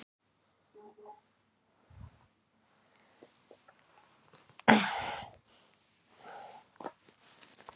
Svör ráðherra til Ríkisendurskoðunar